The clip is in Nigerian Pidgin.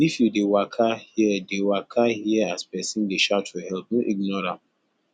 if you dey waka hear dey waka hear as pesin dey shout for help no ignore am